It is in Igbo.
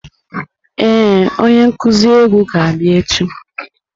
Ee, onye nkuzi egwu ga-abịa echi.